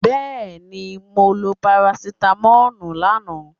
Yes, i took paracetamol yesterday